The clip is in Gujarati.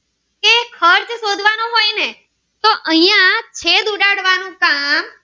નું કામ